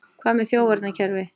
Hvað með þjófavarnarkerfi?